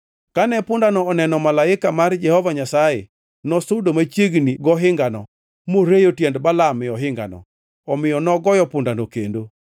Kane pundano oneno malaika mar Jehova Nyasaye, nosudo machiegni gohingano moreyo tiend Balaam gohingano. Omiyo nogoyo pundano kendo.